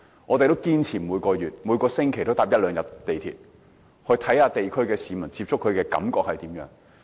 我們堅持每個月、每星期都乘搭一兩天港鐵，以接觸地區市民，了解他們的感受。